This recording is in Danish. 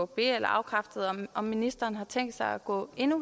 be eller afkræfte om om ministeren har tænkt sig at gå